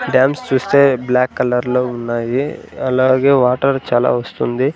Dams చూస్తే black కలర్లో ఉన్నాయి అలాగే వాటర్ చాలా వస్తుంది.